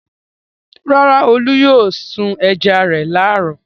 Rárá, Olú yóò sun ẹja rẹ̀ láàárọ̀.